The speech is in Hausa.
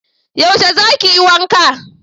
yaushe za ki yi wanka?